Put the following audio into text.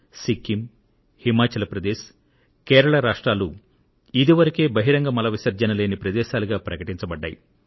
సిక్కిం హిమాచల్ ప్రదేశ్ కేరళ రాష్ట్రాలు ఇది వరకే బహిరంగ మల విసర్జన లేని ప్రదేశాలుగా ప్రకటింపబడ్డాయి